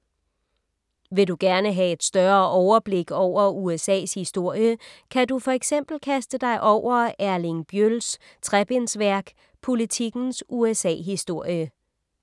Vil du gerne have et større overblik over USA’s historie, kan du for eksempel kaste dig over Erling Bjøls trebindsværk Politikens USA-historie.